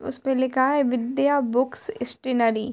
उसपे लिखा है विद्या बुकस स्टैनरी ।